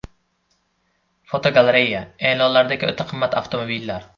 Fotogalereya: E’lonlardagi o‘ta qimmat avtomobillar.